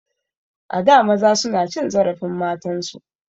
A da maza suna cin zarafin matan su.